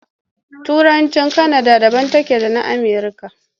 Turancin Kanada daban take da na Amerika.